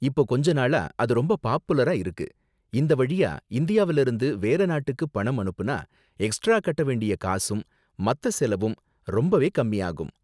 இப்போ கொஞ்ச நாளா அது ரொம்ப பாப்புலரா இருக்கு, இந்த வழியா இந்தியாவுல இருந்து வேற நாட்டுக்கு பணம் அனுப்புனா எக்ஸ்ட்ரா கட்ட வேண்டிய காசும், மத்த செலவும் ரொம்பவே கம்மியாகும்.